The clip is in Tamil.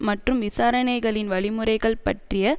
மற்றும் விசாரணைகளின் வழிமுறைகள் பற்றிய